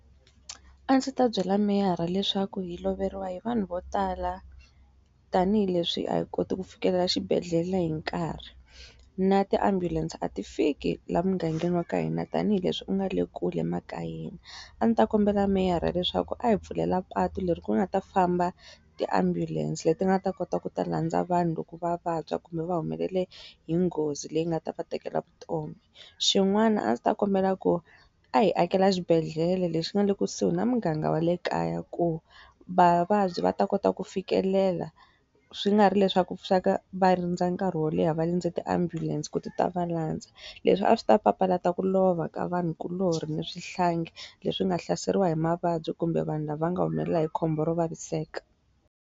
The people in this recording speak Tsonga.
A ndzi ta byela meyara leswaku hi loveriwa hi vanhu vo tala, tanihileswi a hi koti ku fikelela xibedhlele hi nkarhi. Na ti ambulance a ti fiki laha mugangeni wa ka hina tanihileswi u nga le kule makayeni. A ndzi ta kombela meyara leswaku a hi pfulela patu leri ku nga ta famba tiambulense leti nga ta kota ku ta landza vanhu loko va vabya kumbe va humelela hi nghozi leyi nga ta va tekela vutomi. Xin'wana a ndzi ta kombela ku, a hi akela xibedhlele lexi nga le kusuhi na muganga wa le kaya ku vavabyi va ta kota ku fikelela, swi nga ri leswaku va rindza nkarhi wo leha va rindze ti ambulance ku ti ta va landza. Leswi a swi ta papalata ku lova ka vanhukuloni ni swihlangi leswi nga hlaseriwa hi mavabyi kumbe vanhu lava nga humelela hi khombo ro vaviseka.